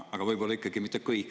Aga võib-olla ikkagi mitte kõik.